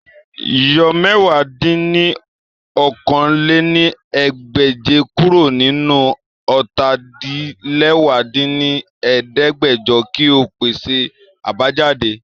Yọ mẹ̀wá dín ní okòó-lé-ní-ẹgbẹ́je kuro ninu ọ́ta-din-lẹwá dín ní ẹ̀ẹ́dẹ́gbẹ́jọ ki o pese abajade!